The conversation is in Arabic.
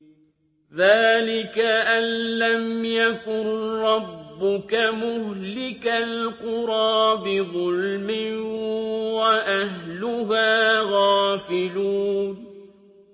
ذَٰلِكَ أَن لَّمْ يَكُن رَّبُّكَ مُهْلِكَ الْقُرَىٰ بِظُلْمٍ وَأَهْلُهَا غَافِلُونَ